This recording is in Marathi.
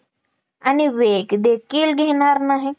आणि वेग देखील घेणार नाही